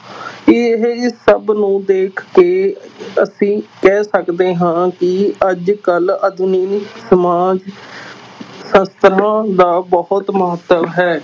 ਇਹ ਸਭ ਨੂੰ ਦੇਖ ਕੇ ਅਸੀਂ ਕਹਿ ਸਕਦੇ ਹਾਂ ਕਿ ਅੱਜ ਕੱਲ੍ਹ ਆਧੁਨਿਕ ਸਮਾਜ ਸ਼ਾਸਤਰਾਂ ਦਾ ਬਹੁਤ ਮਹੱਤਵ ਹੈ।